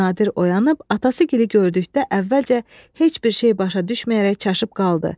Nadir oyanıb atası gili gördükdə əvvəlcə heç bir şey başa düşməyərək çaşıb qaldı.